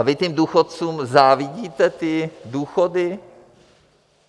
A vy těm důchodcům závidíte ty důchody?